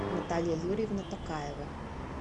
наталья юрьевна токаева